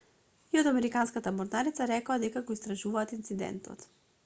и од американската морнарица рекоа дека го истражуваат инцидентот